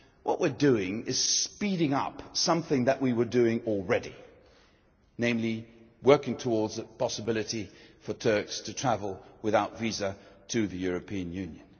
What we are doing is speeding up something that we were doing already namely working towards the possibility for Turks to travel without visas to the European Union.